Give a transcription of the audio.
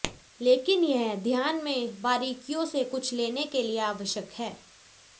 लेकिन यह ध्यान में बारीकियों से कुछ लेने के लिए आवश्यक है